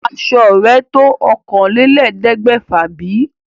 Aṣo rẹ̀ tó òkànlélẹ̀ẹ́dẹ́gbèfà bí?